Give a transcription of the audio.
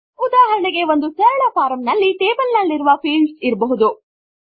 ಉದಾಹರಣೆಗೆ ಒಂದು ಸರಳ ಫಾರ್ಮ್ ನಲ್ಲಿ ಟೇಬಲ್ ನಲ್ಲಿರುವ ಫೀಲ್ಡ್ ಇರಬಹುದು